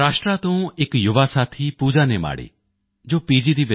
ਮਹਾਰਾਸ਼ਟਰ ਤੋਂ ਇਕ ਯੁਵਾ ਸਾਥੀ ਪੂਜਾ ਨੇਮਾੜੇ ਜੋ ਪੀ